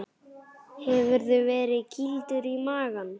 Hefurðu verið kýldur í magann?